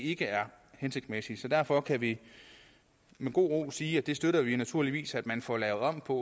ikke er hensigtsmæssigt så derfor kan vi med god ro sige at det støtter vi naturligvis at man får lavet om på